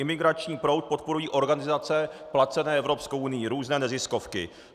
Imigrační proud podporují organizace placené Evropskou unií, různé neziskovky.